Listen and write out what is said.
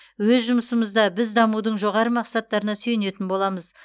өз жұмысымызда біз дамудың жоғары мақсаттарына сүйенетін боламыз